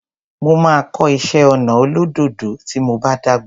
Mo máa kọ́ iṣé ọnà olódòdó tí mo bá dàgbà.